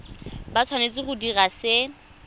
ba tshwanetse go dira se